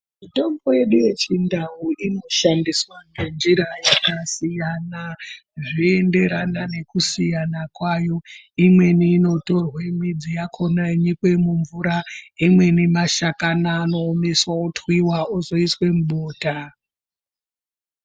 Mitombo yedu yechindau inoshandiswa ngenjira yakasiyana zvoenderana nekusiyana kwayo imweni inotorwa midzi yakona yonyokwa mumvura imweni mashakani anoomeswa otwiwa ozoiswa mubota.